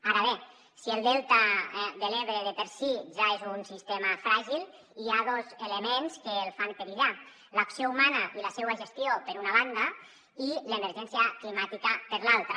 ara bé si el delta de l’ebre per si ja és un sistema fràgil hi ha dos elements que el fan perillar l’acció humana i la seua gestió per una banda i l’emergència climàtica per l’altra